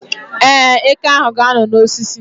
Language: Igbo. Ee, eke ahụ ga-anọ n' osisi